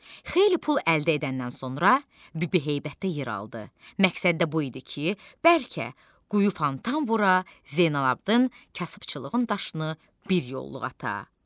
Xeyli pul əldə edəndən sonra Bibiheybətdə yer aldı, məqsəddə bu idi ki, bəlkə quyu fontan vura, Zeynalabdın kasıbçılığın daşını bir yolluq ata.